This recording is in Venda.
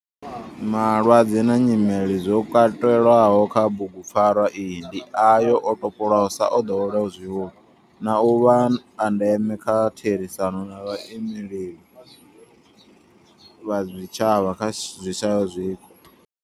Malwadze na nyimele zwo katelwaho kha bugupfarwa iyi ndi ayo o topolwaho sa o ḓoweleaho zwihulu na u vha a ndeme nga kha therisano na vhaimeleli vha zwitshavha zwi shayaho zwiko.